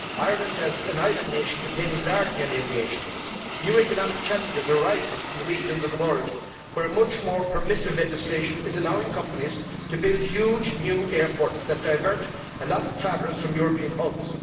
Ireland, as an island nation, depends largely on aviation. New economic challenges are arising from regions of the world where much more permissive legislation is allowing companies to build huge new airports that divert a lot of travellers from European hubs.